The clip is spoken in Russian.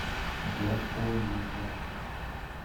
гапонова